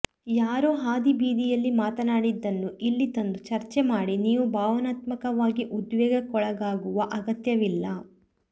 ಯಾರೋ ಹಾದಿಬೀದಿಯಲ್ಲಿ ಮಾತನಾಡಿದ್ದನ್ನು ಇಲ್ಲಿ ತಂದು ಚರ್ಚೆ ಮಾಡಿ ನೀವು ಭಾವನಾತ್ಮಕವಾಗಿ ಉದ್ವೇಗಕ್ಕೊಳಗಾಗುವ ಅಗತ್ಯವಿಲ್ಲ